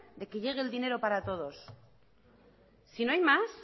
de que llegue el dinero para todos si no hay más